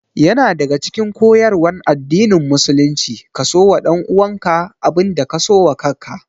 Yana daya daga cikin koyarwan addinin musulunci ka so wa ɗanuwanka abin da ka so wa kaka